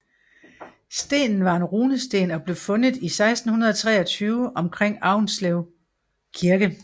Stenen var en runesten og blev fundet i 1623 omkring Aunslev Kirke